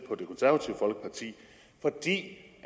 på det